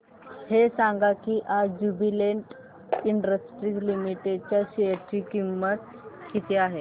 हे सांगा की आज ज्युबीलेंट इंडस्ट्रीज लिमिटेड च्या शेअर ची किंमत किती आहे